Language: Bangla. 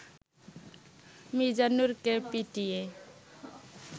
মিজানুরকে পিটিয়ে